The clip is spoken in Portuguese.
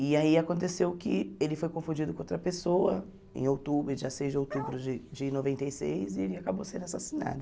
E aí aconteceu que ele foi confundido com outra pessoa em outubro, dia seis de outubro de de noventa e seis, e ele acabou sendo assassinado.